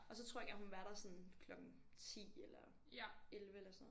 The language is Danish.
Og så tror jeg gerne hun ville være der sådan klokken 10 eller 11 eller sådan noget